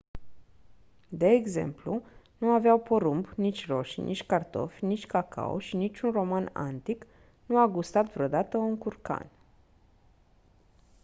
de exemplu nu aveau porumb nici roșii nici cartofi nici cacao și niciun roman antic nu a gustat vreodată un curcan